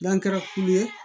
N'an kɛra kulu ye